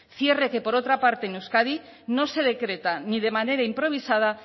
cierre que por otra parte en euskadi no se decreta ni de manera improvisada